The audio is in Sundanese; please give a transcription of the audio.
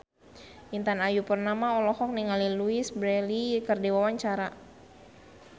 Intan Ayu Purnama olohok ningali Louise Brealey keur diwawancara